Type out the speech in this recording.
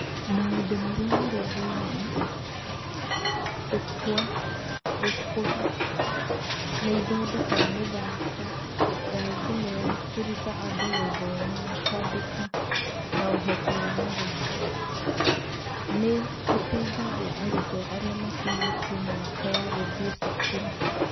Maũndũ Marĩa Marĩ Thĩinĩ: Kukua (Gũkũra)nĩ ĩthondekaga mĩthako ya thimũ ya kũruta andũ gũthoma na kwandĩka na ũhoti wa mathabu. Nĩ ĩteithagia arutwo arĩa makĩnyĩtie miaka ya gũthiĩ cukuru.